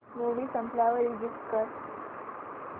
movie संपल्यावर exit कर